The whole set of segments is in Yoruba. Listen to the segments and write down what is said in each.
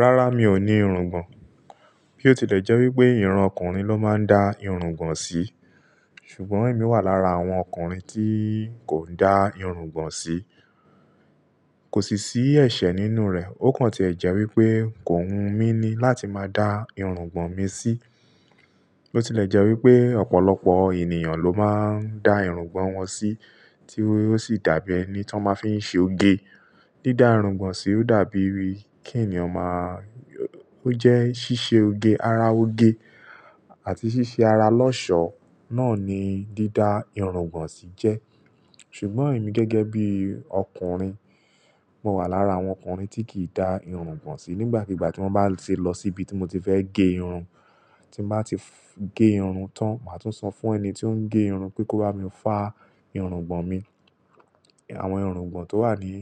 Rárá, mi ò ní irungbọ̀n. Bí ó tilẹ̀ jẹ́ wípé, ìran ọkùnrin ló máa ń dá irungbọ̀n sí. Ṣùgbọ́n èmi wà lára àwọn ọkùnrin tí kò i dá irungbọ̀n sí. Kò sì ṣí ẹ̀ṣẹ̀ nínú rẹ̀. Ó kàn tí ẹ jẹ́ wípé, kò wu mi ni láti máa dá irungbọ̀n mi sí. Bi otilẹ̀ jẹ́ wípé, ọ̀pọ̀lọpọ̀ ènìyàn ló máa ń dá irungbọ̀n wọn sí, tí ó sì dàbí ẹni tí wọ́n máa fí ń ṣe oge. Dídá irungbọ̀n sí ò dàbí wí kí ènìyàn máa-- ó jẹ́ ṣíṣe oge, ara oge àti ṣíṣe ara lọ́ṣọ̀ọ́, náà ni dídá irungbọ̀n sí jẹ́. Ṣùgbọ́n èmi gẹ́gẹ́ bí ọkùnrin, mo wà lára àwọn ọkùnrin tí kì í dá irungbọ̀n sí. Nígbàkigbà tí mo bá ti lọ síbi tí mo ti fẹ́ gẹ irun, tí n bá ti gẹ irun tán, màá tún san fún ẹni tí ó ń gẹ irun pé kó bá mi fá irungbọ̀n mi. Àwọn irungbọ̀n tó wà ní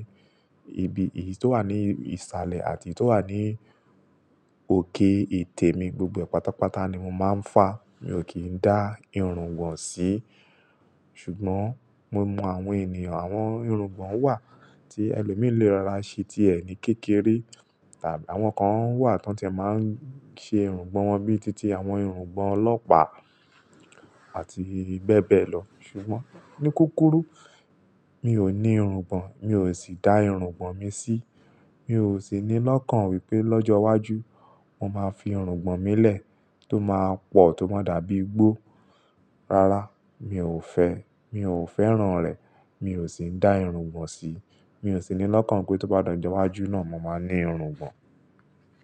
ibi, èyí tó wà ní ìsàlẹ̀ àti èyí tó wà ní òkè etẹ̀ mi, gbogbo e pátápátá ni mo máa ń fá. Mi ò kí ń dá irungbọ̀n sí. Ṣùgbọ́n mo mọ àwọn ènìyàn, àwọn irungbọ̀n wà tí ẹlòmíì lé rora se tíe ni kékeré tàbí àwọn kan wà tí wọ́n ti e máa ń ṣe irungbọ̀n wọn bí i títí, àwọn irungbọ̀n ọlọ́pàá àti bẹ́bẹ́ lọ. Ṣùgbọ́n ní kúkúrú, mi ò ní irungbọ̀n, mi ò sì dá irungbọ̀n mi sí. Mi ò sì ní lọ́kàn wípé lọ́jọ́ iwájú, mo máa fi irungbọ̀n mi lẹ̀ tó máa pọ̀, tó máa dàbí igbó. Rárá, mi ò fẹ́, mi ò fẹ́ràn rẹ̀. Mi ò sì ń dá irungbọ̀n sí. Mi ò sì ní lọ́kàn wípé tó bá dọ̀jú wájú náà, mo máa ní irungbọ̀n.